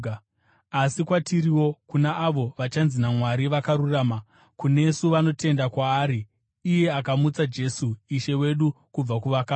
asi kwatiriwo, kuna avo vachanzi naMwari vakarurama, kunesu vanotenda kwaari iye akamutsa Jesu Ishe wedu kubva kuvakafa.